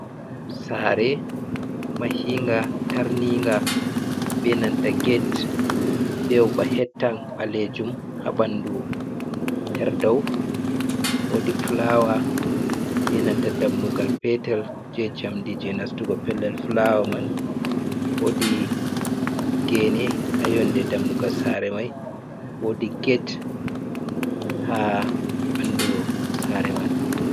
Saare mahinga tarninga benanta get, be ova hettan ɓaleejum ,haa ɓanndu haa daw woodi fulaawa be nanta dammugal petel jey njamndi jey nastugo pellel fulaawa man. Woodi geene haa yonnde dammugal saare may woodi get haa ɓanndu saare man.